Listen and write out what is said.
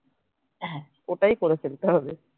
ওটাই করে ফেলতে হবে